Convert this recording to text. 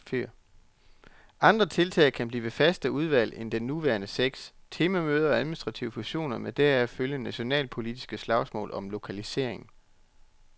Andre tiltag kan blive færre faste udvalg end de nuværende seks, temamøder og administrative fusioner med deraf følgende nationalpolitiske slagsmål om lokaliseringen.